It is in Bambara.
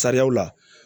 Sariyaw la